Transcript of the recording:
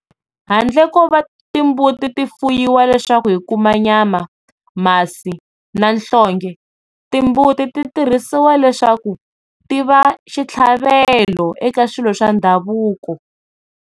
Handle ko va ta timbuti ti fuyiwa leswaku hi kuma nyama, masi na nhlonge timbuti ti tirhisiwa leswaku tiva xitlhavelo eka swilo swa ndhavuko.